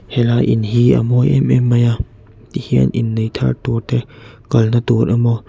helai in hi a mawi em em mai a tihian innei thar tur te kalna tur emaw--